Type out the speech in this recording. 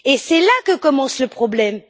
C'est là que commence le problème.